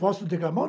Posso declamar